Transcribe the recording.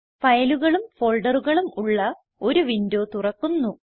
ഫയലുകളും ഫോൾഡറുകളും ഉള്ള ഒരു വിൻഡോ തുറക്കുന്നു